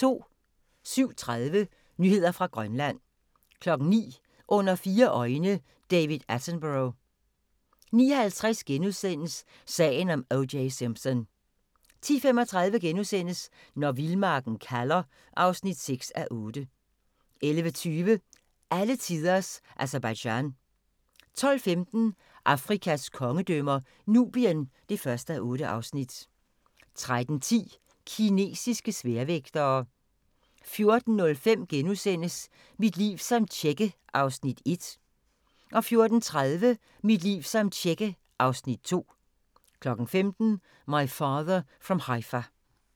07:30: Nyheder fra Grønland 09:00: Under fire øjne – David Attenborough 09:50: Sagen om O.J. Simpson * 10:35: Når vildmarken kalder (6:8)* 11:20: Alletiders Aserbajdsjan 12:15: Afrikas kongedømmer - Nubien (1:8) 13:10: Kinesiske sværvægtere 14:05: Mit liv som tjekke (Afs. 1)* 14:30: Mit liv som tjekke (Afs. 2) 15:00: My Father from Haifa